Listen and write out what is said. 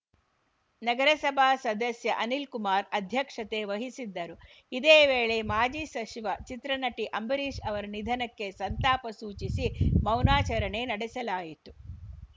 ನಗರಸಭಾ ಸದಸ್ಯ ಅನಿಲ್‌ಕುಮಾರ್‌ ಅಧ್ಯಕ್ಷತೆ ವಹಿಸಿದ್ದರು ಇದೇ ವೇಳೆ ಮಾಜಿ ಸಸಿ ವ ಚಿತ್ರನಟ ಅಂಬರೀಷ್‌ ಅವರ ನಿಧನಕ್ಕೆ ಸಂತಾಪ ಸೂಚಿಸಿ ಮೌನಾಚರಣೆ ನಡೆಸಲಾಯಿತು